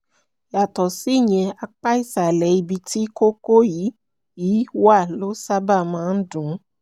yàtọ̀ síyẹn apá ìsàlẹ̀ ibi tí kókó yìí yìí wà ló sábà máa ń dun